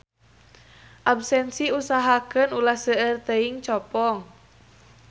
Absensi usahakeun ulah seueur teuing copong.